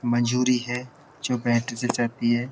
मंजूरी है जो बैटरी से चलती है।